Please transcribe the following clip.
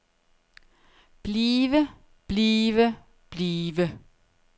blive blive blive